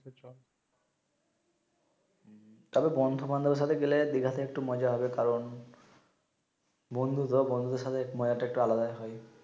তাবে বন্ধু বান্ধব সাথে গেলে দিঘা তে একটু মজা হবে কারন বন্ধু তো বন্ধু সাথে মজা তো একটা আলাদা